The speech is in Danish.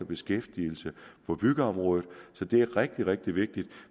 beskæftigelsen på byggeområdet så det er rigtig rigtig vigtigt